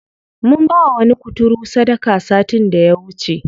Mun bawa wani kuturu sadaka satin da ya wuce.